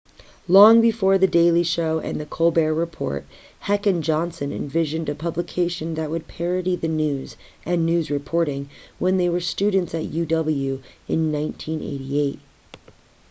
long before the daily show and the colbert report heck and johnson envisioned a publication that would parody the news-and news reporting-when they were students at uw in 1988